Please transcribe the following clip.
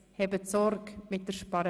«Hebed Sorg mit de Sparerei!